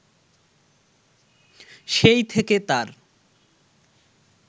সেই থেকে তার